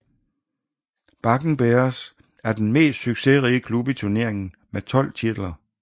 Bakken Bears er den mest succesrige klub i turneringen med 12 titler